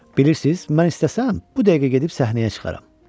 Bilirsiz, mən istəsəm bu dəqiqə gedib səhnəyə çıxaram.